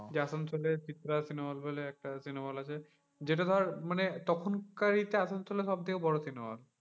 আসানসোলে Chitra cinema hall বলে একটা cinema hall আছে। যেটা ধর মানে তখনকার এইটা আসানসোলের সব থেকে বড় cinema hall.